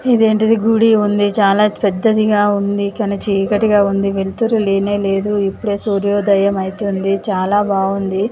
ఇదేంటిది గుడి ఉంది చాలా పెద్దదిగా ఉంది కాని చీకటిగా ఉంది వెళ్తురు లేనేలేదు ఇప్పుడే సూర్యోదయం అవుతుంది చాలా బాగుంది.